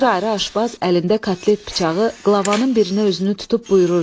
Bir ayrı aşbaz əlində kotlet bıçağı, qlavanın birinə özünü tutub buyururdu.